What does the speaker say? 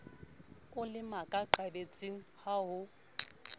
o le makaqabetsing ha ho